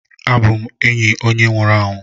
abum enyi onye nwuru anwu